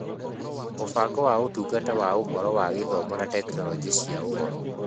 Mũbango wa Ũtungata na Ũhoro wa Gĩthomo na Tekinoronjĩ cia Ũhoro